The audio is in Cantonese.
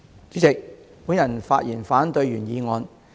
主席，我發言反對原議案。